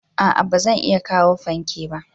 A'a ba zan iya kawo fanke ba.